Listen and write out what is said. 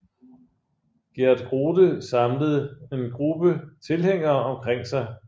Geert Grote samlet en gruppe tilhængere omkring sig